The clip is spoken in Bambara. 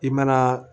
I mana